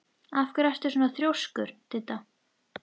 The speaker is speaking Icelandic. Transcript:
Af hverju ertu svona þrjóskur, Didda?